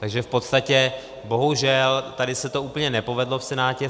Takže v podstatě, bohužel, tady se to úplně nepovedlo v Senátě.